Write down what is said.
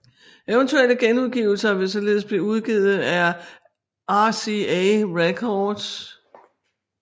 Eventuelle genudgivelser vil således blive udgivet på RCA Records